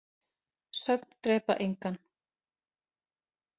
Söfn drepa engan.